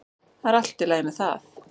Það er allt í lagi með það.